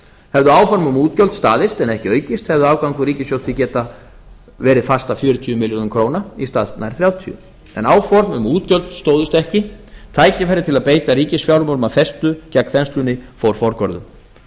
hefðu áform um útgjöld staðist en ekki aukist hefði afgangur ríkissjóðs því getað verið fast að fjörutíu milljarðar króna en ekki þrjátíu en áform um útgjöld stóðust ekki tækifæri til að beita ríkisfjármálunum af festu gegn þenslunni fór forgörðum